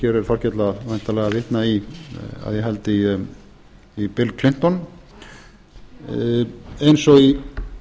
hér er þorkell væntanlega að vitna í að ég held bill clinton eins og í